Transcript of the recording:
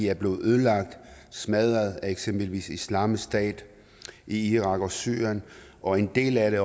er blevet ødelagt og smadret af eksempelvis islamisk stat i irak og syrien og en del af det